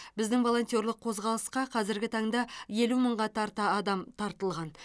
біздің волонтерлық қозғалысқа қазіргі таңда елу мыңға тарта адам тартылған